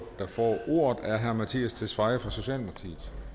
ordet er herre mattias tesfaye fra socialdemokratiet